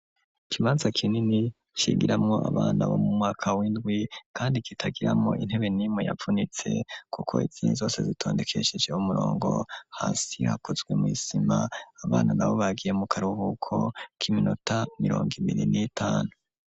Ikibanza kinini cigiramwo abana bo mu mwaka w'indwi kandi kitagiramwo intebe nimwe yavunitse kuko izini zose zitondekeshese h'umurongo hasi hakozwe mu isima abantu nabo bagiye mu karuhuko k'iminota mirongo ibiri n'itanu.